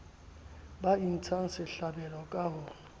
ba intshang sehlabelo ka ho